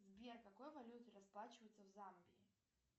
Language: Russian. сбер какой валютой расплачиваться в замбии